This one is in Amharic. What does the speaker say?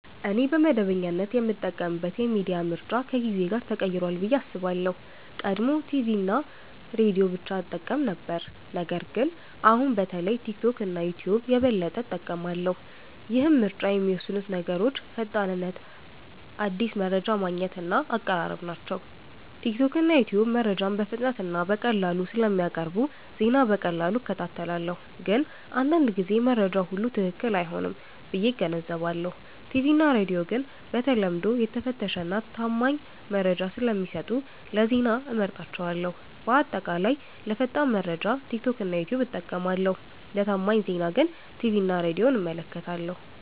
እኔ በመደበኛነት የምጠቀምበት የሚዲያ ምርጫ ከጊዜ ጋር ተቀይሯል ብዬ አስባለሁ። ቀድሞ ቲቪ እና ሬዲዮ ብቻ እጠቀም ነበር ነገር ግን አሁን በተለይ ቲክቶክ እና ዩትዩብ የበለጠ እጠቀማለሁ። ይህን ምርጫ የሚወስኑት ነገሮች ፈጣንነት አዲስ መረጃ ማግኘት እና አቀራረብ ናቸው። ቲክቶክ እና ዩትዩብ መረጃን በፍጥነት እና በቀላሉ ስለሚያቀርቡ ዜና በቀላሉ እከታተላለሁ። ግን አንዳንድ ጊዜ መረጃው ሁሉ ትክክል አይሆንም ብዬ እገነዘባለሁ። ቲቪ እና ሬዲዮ ግን በተለምዶ የተፈተሸ እና ታማኝ መረጃ ስለሚሰጡ ለዜና እመርጣቸዋለሁ። በአጠቃላይ ለፈጣን መረጃ ቲክቶክ እና ዩትዩብ እጠቀማለሁ ለታማኝ ዜና ግን ቲቪ እና ሬዲዮን እመለከታለሁ።